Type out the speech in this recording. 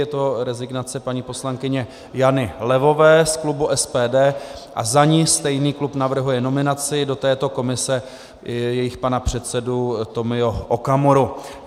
Je to rezignace paní poslankyně Jany Levové z klubu SPD a za ni stejný klub navrhuje nominaci do této komise jejich pana předsedu Tomia Okamuru.